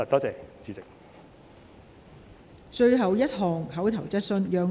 最後一項口頭質詢。